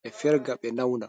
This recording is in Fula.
ɓe ferga ɓe nauna.